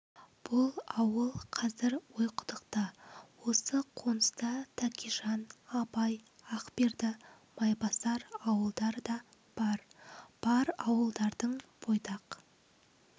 бұл ауыл қазір ойқұдықта осы қоныста тәкежан абай ақберді майбасар ауылдары да бар бар ауылдардың бойдақ